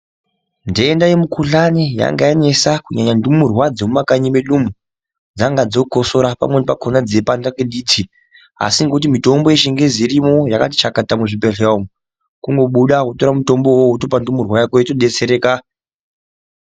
Ndenda ye mu kuhlani yanga yamisa kunyanya ndumurwa dzemu muma kani mwo dzanga dzo kosora pamweni pakona dzeyi panda ne diti asi ngekuti mutombo yechingezi irimwo yakati chakata mu zvi bhedhlera kungo buda wotora mutombo wowo wotopa ndumurwa yako yoto detsereka.